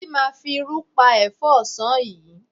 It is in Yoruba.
Títí máa fi irú pa ẹ̀fọ́ ọ̀sán yìí.